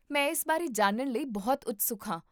ਮੈਂ ਇਸ ਬਾਰੇ ਜਾਣਨ ਲਈ ਬਹੁਤ ਉਤਸੁਕ ਹਾਂ